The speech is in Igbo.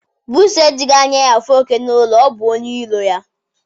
Buusu ejihi anya ya afụ oke n'ụlọ. ọ bụ onye iro ya